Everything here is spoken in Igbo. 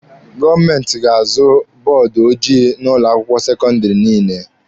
Gọọmenti ga-azụta bọọdụ ojii n'ụlọ akwụkwọ sekọndịrị niile.